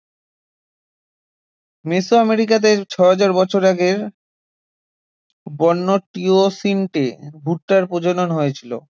মেসো আমেরিকাতে ছয় হাজার বছর আগের বন্য টিওসিন্টে ভুট্টার প্রজনন হয়েছিল